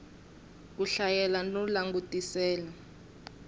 ku hlayela no langutisela ku